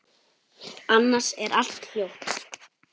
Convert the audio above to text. Annars er allt hljótt.